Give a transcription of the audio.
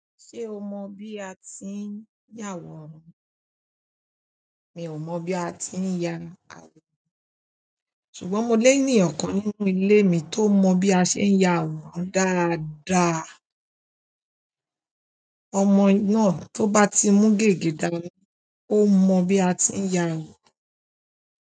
Ṣé o mọ bí a ti ń yá àwòrán? Mi ò mọ̀ bí a ti ń ya àwòrán ṣùgbọ́n mo lé ènìyàn kan nínú ilé mi tó mọ bí a ṣe ń ya àwòrán dáadáa. Ọmọ náà tó bá ti mú gègé dání ó mọ bí a ti ń ya àwòrán.